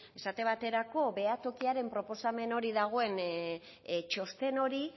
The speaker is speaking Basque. esate baterako behatokiaren proposamen hori dagoen txosten hori